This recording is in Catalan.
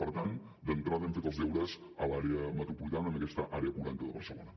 per tant d’entrada hem fet els deures a l’àrea metropolitana amb aquesta àrea40 de barcelona